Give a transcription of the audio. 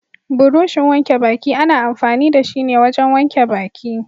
Burushin wanke baki ana amfani da shi ne wajen wanke baki.